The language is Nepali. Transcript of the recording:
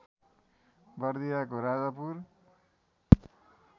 बर्दियाको राजापुर